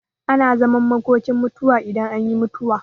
Ana zaman makokin mutuwa idan an yi mutuwa.